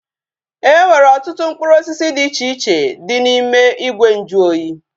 Enwere ọtụtụ mkpụrụ osisi dị iche iche dị n'ime ìgwè nju oyi